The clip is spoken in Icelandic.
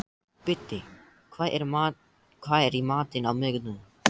Biddi, hvað er í matinn á miðvikudaginn?